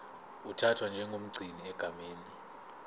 uthathwa njengomgcini egameni